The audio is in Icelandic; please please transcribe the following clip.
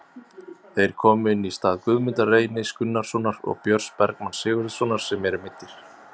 Þeir komu inn í stað Guðmundar Reynis Gunnarssonar og Björns Bergmanns Sigurðarsonar sem eru meiddir.